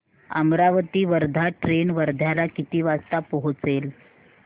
Amravati Wardha train वर्ध्याला किती वाजता पोहचेल